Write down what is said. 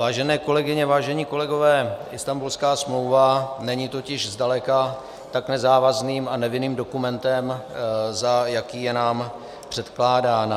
Vážené kolegyně, vážení kolegové, Istanbulská smlouva není totiž zdaleka tak nezávazným a nevinným dokumentem, za jaký je nám předkládána.